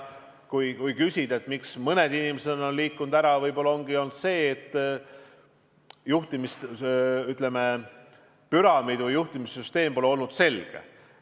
Kui küsida, miks mõned inimesed on ära läinud, siis võib-olla ongi asi olnud selles, et püramiid või juhtimissüsteem pole olnud selge.